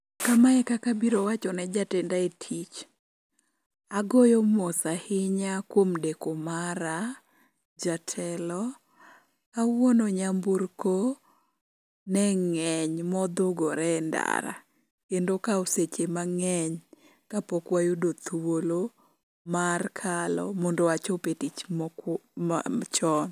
Kama e kaka abiro wacho ne jatenda e tich. Agoyo mos ahinya kuom deko mara, Jatelo. Kawuono nyamburko ne ng'eny modhugore e ndara. Kendo okawo seche mang'eny kapok wayudo thuolo mar kalo mondo achop e tich chon.